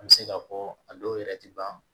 An bɛ se k'a fɔ a dɔw yɛrɛ tɛ ban